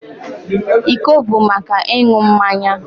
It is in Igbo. Iko bụ maka ịṅụ mmanya